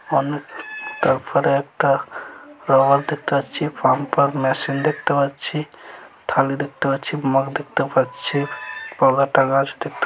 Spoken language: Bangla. তারপরে একটা ফ্লাওয়ার দেখতে পাচ্ছি পাম্পার মেশিন দেখতে পাচ্ছি থালি দেখতে পাচ্ছি মাগ দেখতে পাচ্ছি বড়ো একটা গাছ দেখতে --